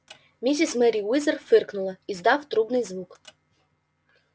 миссис мерриуэзер фыркнула издав трубный звук